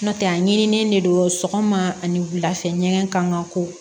N'o tɛ a ɲinilen de don sɔgɔma ani wula fɛ ɲɛgɛn kan ka ko